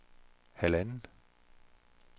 halvanden